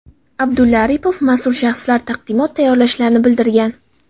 Abdulla Aripov mas’ul shaxslar taqdimot tayyorlashlarini bildirgan.